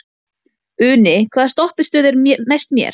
Uni, hvaða stoppistöð er næst mér?